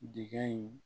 Dekɛ in